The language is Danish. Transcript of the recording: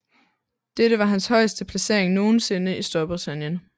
Dette var hans højeste placering nogensinde i Storbritannien